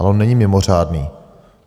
Ale on není mimořádný.